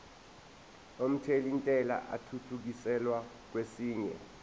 omthelintela athuthukiselwa kwesinye